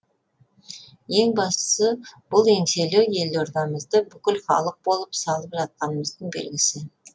ең бастысы бұл еңселі елордамызды бүкіл халық болып салып жатқанымыздың белгісі